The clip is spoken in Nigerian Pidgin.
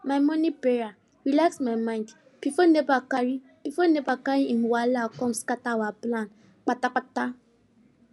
my mornin prayer relax my mind before nepa carry before nepa carry im wahala come scatter our plan kpatakpata